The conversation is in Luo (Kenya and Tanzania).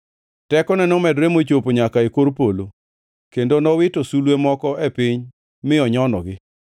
Tekone nomedore mochopo nyaka e kor polo, kendo nowito sulwe moko e piny mi onyonogi.